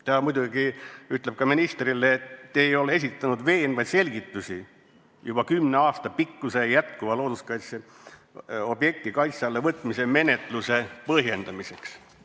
" Ta muidugi ütleb ka ministrile, et ta ei ole esitanud veenvaid selgitusi juba kümne aasta pikkuse jätkuva looduskaitseobjekti kaitse alla võtmise menetluse põhjendamiseks.